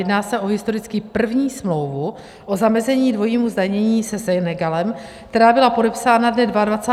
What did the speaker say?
Jedná se o historicky první smlouvu o zamezení dvojímu zdanění se Senegalem, která byla podepsána dne 22. ledna 2020 v Dakaru.